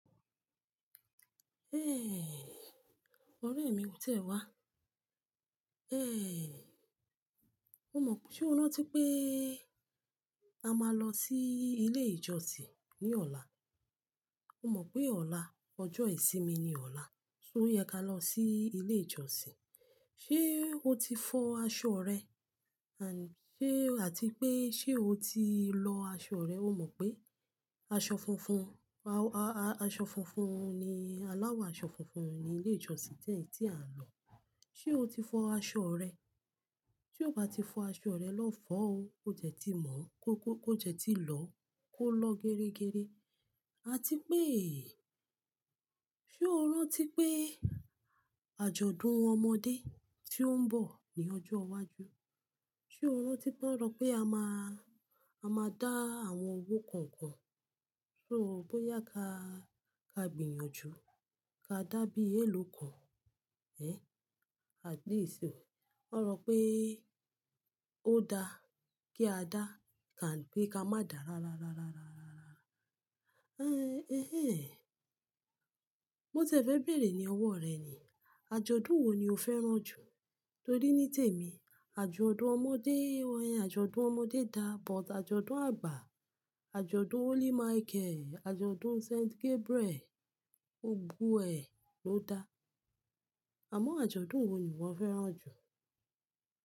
Ẹ́, ọ̀rẹ́ mi kò tí e wá. Ẹ́, o mọ̀ pé ṣe o rántí pé a máa lọ sí ilé ìjọsìn ní ọ̀la? O mọ̀ pé ọ̀la, ọjọ́ ìsinmi ni ọ̀la, so yẹ ká lọ sí ilé ìjọsìn. Ṣé o ti fọ aṣọ rẹ? Àti pé, ṣe o ti lọ aṣọ rẹ? O mọ̀ pé aṣọ funfun, a-a-aṣọ funfun ni, aláwọ̀ aṣọ funfun ni ilé ìjọsìn tẹ́ẹ̀ tí à ń lọ. Ṣé o ti fọ aṣọ rẹ? Tí o bá ti fọ aṣọ rẹ lọ́ fọ́ o. Ó dẹ́ tí mọ́, kó jẹ́ tí lọ, kó lọ gẹ́rẹ́gẹ́rẹ́. Àti pé, ṣe o rántí pé àjọ̀dún ọmọdé tí ó ń bọ̀ ní ọjọ́ iwájú, ṣe o rántí pé won só pé a máa, a máa dá àwọn owó kọ̀ọ̀kan? So bóyá ká gbìyànjú ká dá bí èèló kọ̀, ẹ? At least o. Won sọ̀ pé ó dá kí a dá than pe ka má dà rá rá rá rá rá rá. Ẹ́, mo tì e fẹ́ bẹ̀rẹ̀ ní ọwọ́ rẹ ni. Àjọ̀dún wo ni o fẹ́ràn jù? Torí ní tèmi, àjọ̀dún ọmọdé, àjọ̀dún ọmọdé dá, but àjọ̀dún àgbà, àjọ̀dún Holy Michael, àjọ̀dún St. Gabriel, gbogbo ẹ, ló dá. Àmọ́ àjọ̀dún wo ni wọ fẹ́ràn jù?